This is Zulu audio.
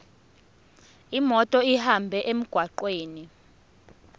imoto ihambe emgwaqweni